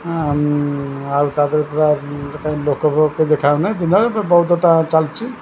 ଆଉ ଆଉ ତା ଦେହରେ ପୁରା ଗୋଟାଏ ଲୋକକୁ କେହି ଦେଖା ଯାଉନାହିଁ ଦିନରେ ବହୁତ କଥା ଚାଲିଛି ।